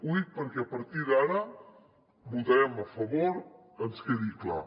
ho dic perquè a partir d’ara votarem a favor ens quedi clar